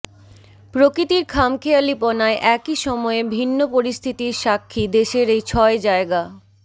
প্রকৃতির খামখেয়ালিপনায় একই সময়ে ভিন্ন পরিস্থিতির সাক্ষী দেশের এই ছয় জায়গা